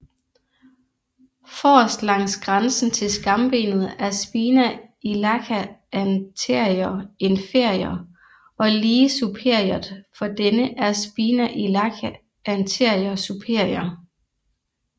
Forrest langs grænsen til skambenet er spina iliaca anterior inferior og lige superiort for denne er spina iliaca anterior superior